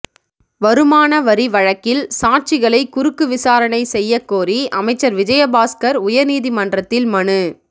வருமான வரி வழக்கில் சாட்சிகளை குறுக்கு விசாரணை செய்ய கோரி அமைச்சர் விஜயபாஸ்கர் உயர்நீதிமன்றத்தில் மனு